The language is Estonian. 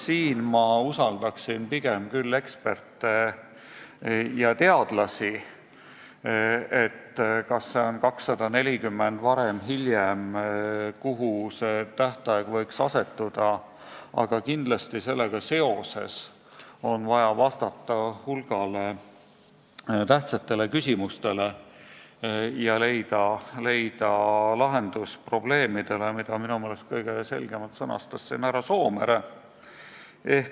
Selles, kas see tähtaeg on 2040 või varem või hiljem, usaldaksin ma pigem küll eksperte ja teadlasi, aga kindlasti on sellega seoses vaja vastata hulgale tähtsatele küsimustele ja leida lahendus probleemidele, mida minu meelest kõige selgemalt sõnastas siin härra Soomere.